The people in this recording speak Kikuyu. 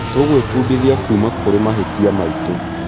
Tũgwĩbundithia kuuma kũrĩ mahĩtia maitũ.